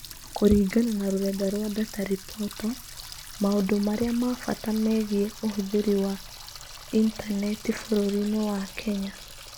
Kũringana na rũrenda rwa DataReportal, maũndũ marĩa ma bata megiĩ ũhũthĩri wa Intaneti bũrũri-inĩ wa Kenya